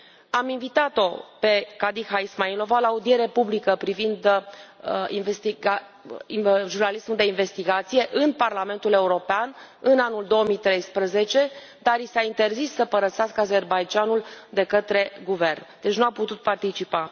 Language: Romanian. Am invitat o pe Khadija Ismailova la o audiere publică privind jurnalismul de investigație în Parlamentul European în anul 2013, dar i s a interzis să părăsească Azerbaidjanul de către guvern, deci nu a putut participa.